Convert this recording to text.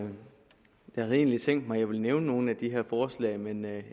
havde egentlig tænkt mig at jeg ville nævne nogle af de her forslag men